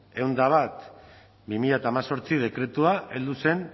ehun eta bat barra bi mila hemezortzi dekretua heldu zen